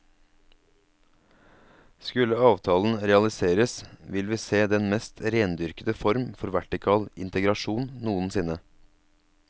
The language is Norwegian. Skulle avtalen realiseres vil vi se den mest rendyrkete form for vertikal integrasjon noensinne.